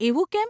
એવું કેમ?